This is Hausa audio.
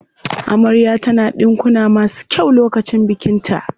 Amarya ta na ɗinkuna masu kyau lokacin bikin ta.